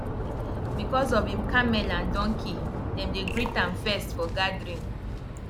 because of him camel and donkey dem dey greet am first for gathering